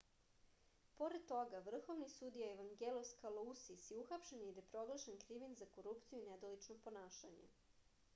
pored toga vrhovni sudija evangelos kalousis je uhapšen jer je proglašen krivim za korupciju i nedolično ponašanje